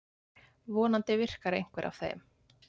Vonandi virkar einhver af þeim.